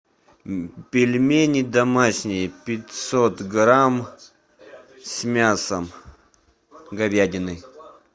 пельмени домашние пятьсот грамм с мясом говядиной